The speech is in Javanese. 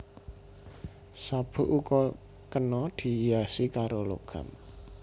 Sabuk uga kena dihiasi karo logam